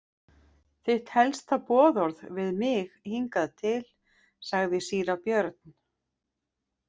Þitt helsta boðorð við mig hingað til, sagði síra Björn.